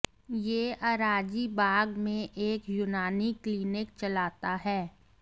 ये अराजीबाग में एक यूनानी क्लीनिक चलाता है